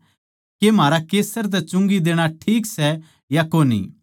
के म्हारा कैसर तै चुंगी देणा ठीक सै या कोनी